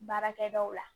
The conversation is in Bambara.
Baarakɛdaw la